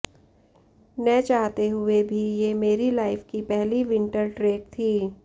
न चाहते हुए भी ये मेरी लाइफ की पहली विंटर ट्रेक थी